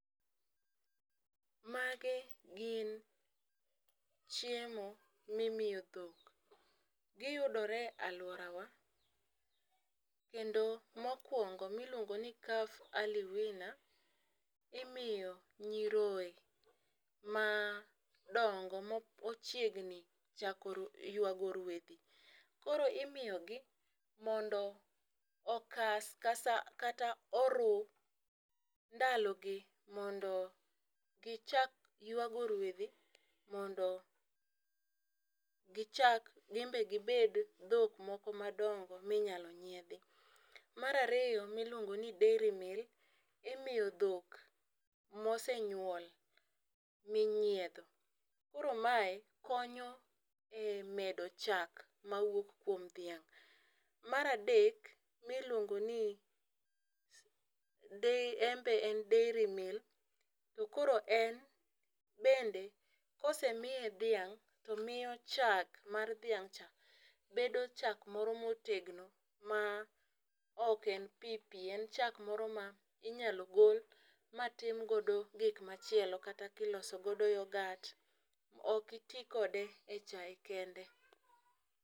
Magi gin chiemo mimiyo dhok. Giyudore aluorawa kendo mokwongo miluongo ni calf early winner imiyo nyiroye ma dongo mo ochiegni chako ywago ruedhi . Koro imiyo gi mondo okas kasa kata oruu ndalo gi mondo gichak ywago ruedhi mondo gichak gin be gibed dhok nmadongo minyalo nyiedhi. Mar ariyo miuongo ni dairy meal imiyo dhok mosenyuol minyiedho koro mae konyo e medo chak mawuok kuom dhiang'. Mar adek iluongo de en be en dairy meal to koro en bende kosemiye dhiang' to miyo chak mar dhiang' cha bedo chak moro motegno ma ok en pii pii . En chak moro minyalo gol matim godo gik machielo kata gikoso godo yogat , ok itii kode e chai kende.